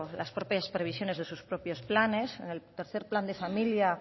las propias previsiones de sus propios planes en el tercero plan de familia